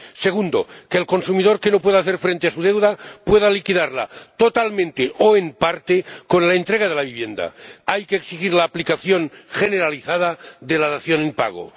segunda, que el consumidor que no pueda hacer frente a su deuda pueda liquidarla totalmente o en parte con la entrega de la vivienda —hay que exigir la aplicación generalizada de la dación en pago—